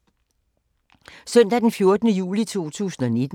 Søndag d. 14. juli 2019